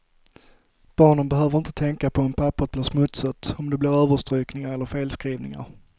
Barnen behöver inte tänka på om papperet blir smutsigt, om det blir överstrykningar eller felskrivningar.